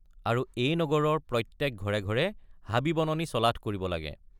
আৰু এই নগৰৰ প্ৰত্যেক ঘৰে ঘৰে হাবিবননি চলথ কৰিব লাগে।